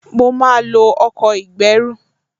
Mo máa lo ọkọ̀ ìgbẹ́rù